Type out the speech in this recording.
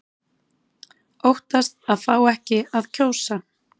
Óttast að fá ekki að kjósa